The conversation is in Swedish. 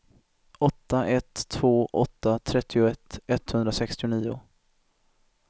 åtta ett två åtta trettioett etthundrasextionio